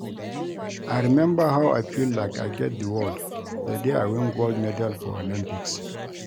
I remember how I feel like I get the world the day I win gold medal for Olympics